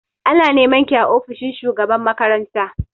Ana nema ki a ofishin shugaban makaranta!